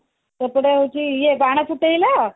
ସେଥିରେ ହଉଛି ଇଏ ବାନ ଫୁଟେଇଲ